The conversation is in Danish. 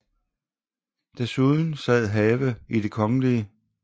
Desuden sad Have i Det Kgl